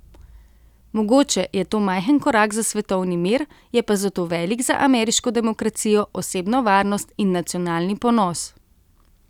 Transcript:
Mogoče je to majhen korak za svetovni mir, je pa zato velik za ameriško demokracijo, osebno varnost in nacionalni ponos.